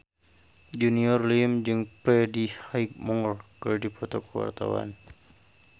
Junior Liem jeung Freddie Highmore keur dipoto ku wartawan